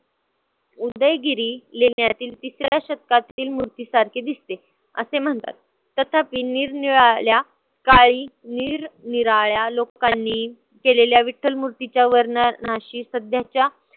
उदयगिरी लेण्यातील तिसऱ्या शतकातील मूर्तीसारखी दिसते असे म्हणतात. तथापि निरनिराळ्या काळी निरनिराळ्या लोकांनी केलेल्या विठ्ठल मूर्तीच्या वर्णनाशी सध्याच्या